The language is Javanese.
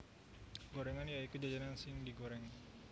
Gorengan ya iku jajanan sing digoreng